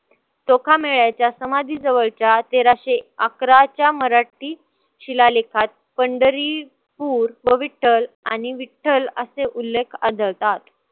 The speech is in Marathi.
चोखामेळ्याच्या समाधीजवळच्या तेराशे अकराच्या मराठी शिलालेखात पंडरीपुर व विठ्ठल आणि विठ्ठल असे उल्लेख आढळतात.